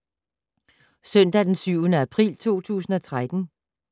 Søndag d. 7. april 2013